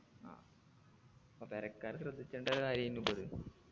ആ അപ്പൊ പെരക്കാര് ശ്രദ്ധിച്ചണ്ട കാര്യേനു ഇപ്പൊ അത്